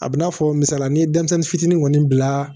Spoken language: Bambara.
A bɛ n'a fɔ misali ni ye denmisɛnnin fitinin kɔni bila